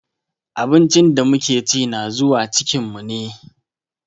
Abincin da muke chi na zuwa cikin mu ne.